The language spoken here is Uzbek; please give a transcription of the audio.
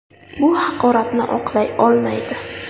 Bu haqoratni oqlay olmaydi.